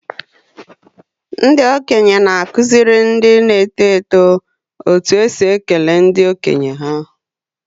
Ndị okenye na-akụziri ndị na-eto eto otú e si ekele ndị okenye ha.